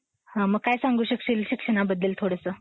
मग काय सांगू शकशील शिक्षणाबद्दल थोडंसं.